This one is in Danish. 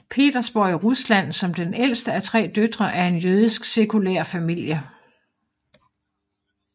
Petersborg i Rusland som den ældste af tre døtre af en jødisk sekulær familie